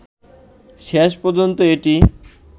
শেষ পর্যন্ত এটি